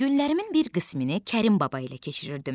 Günlərimin bir qismini Kərim Baba ilə keçirirdim.